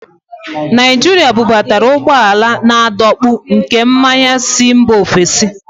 nigeria bubatara ụgbọala na-adọkpụ nke mmanya si mba ofesi